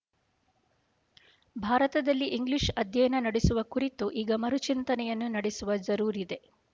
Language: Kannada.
ಭಾರತದಲ್ಲಿ ಇಂಗ್ಲೀಷ್ ಅಧ್ಯಯನ ನಡೆಸುವ ಕುರಿತು ಈಗ ಮರುಚಿಂತನೆಯನ್ನು ನಡೆಸುವ ಜರೂರಿದೆ